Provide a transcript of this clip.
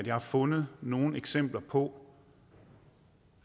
har fundet nogen eksempler på